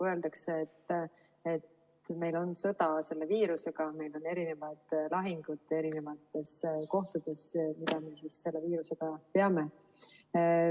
Öeldakse, et meil on sõda selle viirusega, meil on eri kohtades lahingud, mida me selle viirusega peame.